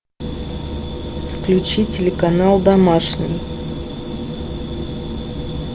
включи телеканал домашний